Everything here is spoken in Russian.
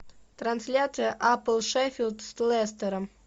трансляция апл шеффилд с лестером